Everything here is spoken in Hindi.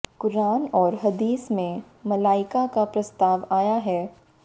क़ुरान और हदीस में मलाइका का प्रस्ताव आया है